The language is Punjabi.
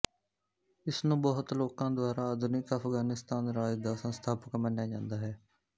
ਇਸ ਨੂੰ ਬਹੁਤ ਲੋਕਾਂ ਦੁਆਰਾ ਆਧੁਨਿਕ ਅਫਗਾਨੀਸਤਾਨ ਰਾਜ ਦਾ ਸੰਸਥਾਪਕ ਮੰਨਿਆ ਜਾਂਦਾ ਹੈ